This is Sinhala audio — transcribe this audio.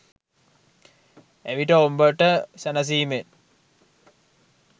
එවිට ඹබට සැනසීමෙන්